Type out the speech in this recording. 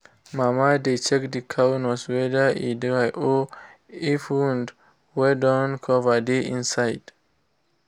mama dey check the cow nose whether e dry of if wound wey don cover dey inside